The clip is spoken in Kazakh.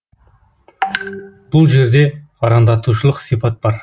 бұл жерде арандатушылық сипат бар